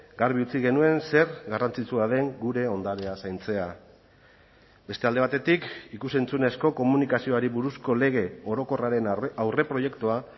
garbi utzi genuen zer garrantzitsua den gure ondarea zaintzea beste alde batetik ikus entzunezko komunikazioari buruzko lege orokorraren aurreproiektua